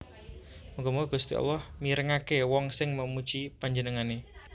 Muga muga Gusti Allah mirengaké wong sing memuji Panjenengané